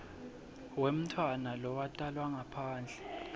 wemntfwana lowatalwa ngaphandle